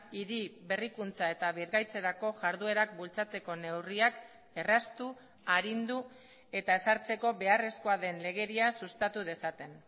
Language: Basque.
hiri berrikuntza eta birgaitzerako jarduerak bultzatzeko neurriak erraztu arindu eta ezartzeko beharrezkoa den legedia sustatu dezaten